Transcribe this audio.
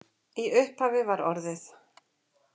Í upphafi var orðið